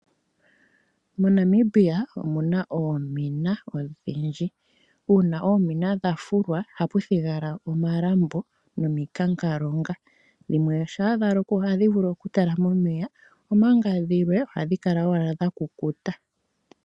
MoNamibia omu na oomina odhindji. Uuna oomina dha fulwa ohapu thigala omalambo nomikanka. Dhimwe shampa dha lokwa ohadhi vulu okutalama omeya, omanga dhimwe ohadhi kala owala dha kukuta.